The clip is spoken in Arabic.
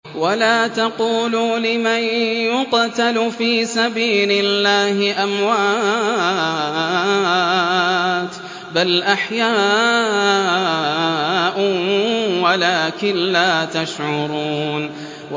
وَلَا تَقُولُوا لِمَن يُقْتَلُ فِي سَبِيلِ اللَّهِ أَمْوَاتٌ ۚ بَلْ أَحْيَاءٌ وَلَٰكِن لَّا تَشْعُرُونَ